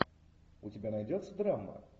у тебя найдется драма